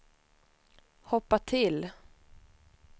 hoppa till